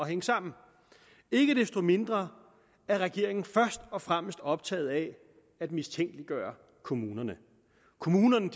hænge sammen ikke desto mindre er regeringen først og fremmest optaget af at mistænkeliggøre kommunerne kommunerne